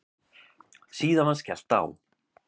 Síðan var skellt á.